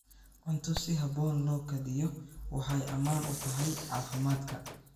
Cunto si habboon loo kaydiyo waxay ammaan u tahay caafimaadka.